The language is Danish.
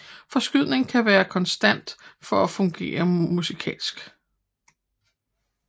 Forskydningen skal være konstant for at fungere musikalsk